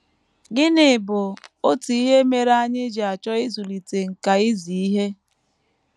Gịnị bụ otu ihe mere anyị ji achọ ịzụlite “ nkà izi ihe ”?